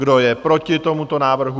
Kdo je proti tomuto návrhu?